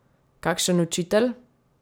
Kakšen učitelj?